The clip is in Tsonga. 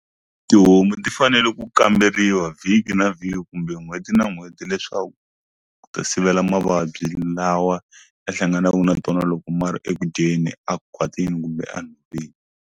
Tihomu ti fanele ku kamberiwa vhiki na vhiki kumbe hi n'hweti na n'hweti leswaku ku ta sivela mavabyi lawa ya hlanganaku na tona loko mara eku dyeni a khwatini kumbe a nhoveni.